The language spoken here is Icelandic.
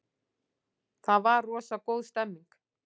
Það var rosa góð stemning.